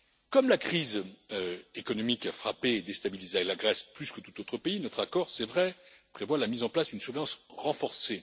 Comme la crise économique a frappé et déstabilisé la Grèce plus que tout autre pays, notre accord, c'est vrai, prévoit la mise en place d'une surveillance renforcée.